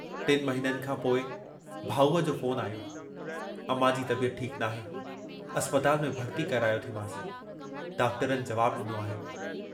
टिनि महिननि खां पोइ भाऊअ जो फ़ोन आयो, अमां जी तबियत ठीकु नाहे अस्पताल में भर्ती करायो थी मांस, डॉक्टरनि जवाबु डिनो आहे।